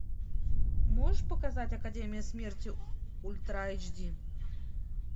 можешь показать академия смерти ультра айч ди